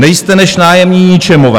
Nejste než nájemní ničemové.